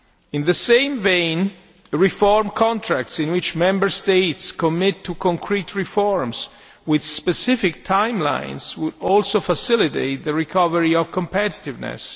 In the same vein, reform contracts, in which Member States commit to concrete reforms with specific timelines, would also facilitate the recovery of competitiveness.